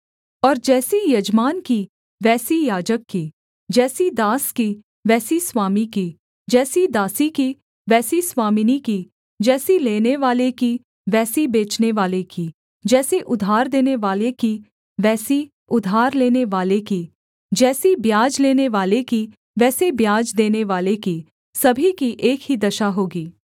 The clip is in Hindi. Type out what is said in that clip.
और जैसी यजमान की वैसी याजक की जैसी दास की वैसी स्वामी की जैसी दासी की वैसी स्वामिनी की जैसी लेनेवाले की वैसी बेचनेवाले की जैसी उधार देनेवाले की वैसी उधार लेनेवाले की जैसी ब्याज लेनेवाले की वैसी ब्याज देनेवाले की सभी की एक ही दशा होगी